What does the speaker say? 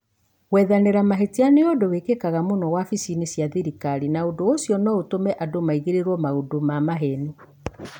Gwethanĩra mahĩtia nĩ ũndũ wĩkĩkaga mũno wabici-inĩ cia thirikari na ũndũ ũcio no ũtũme andũ maigĩrĩrwo maũndũ ma maheni